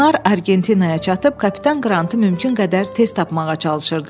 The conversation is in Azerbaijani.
Onlar Argentinaya çatıb kapitan Qrantı mümkün qədər tez tapmağa çalışırdılar.